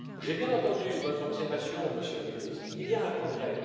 J'ai bien entendu votre observation, Monsieur le Ministre, il y a un progrès.